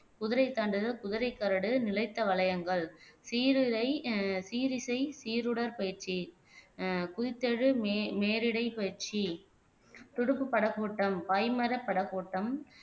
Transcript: குதிரை தாண்டுதல் குதிரை கரடு நிலைத்த வளையங்கள் சீருடை ஆஹ் சீரிசை சீருடர் பயிற்சி ஆஹ் குறித்தெழு நேரிடைப் பயிற்சி துடுப்பு படகோட்டம் பாய்மார படகோட்டம்